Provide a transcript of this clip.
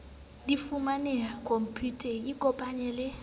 di fumanehe khomputeng ikopanye le